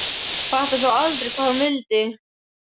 Fattaði þó aldrei hvað hún vildi.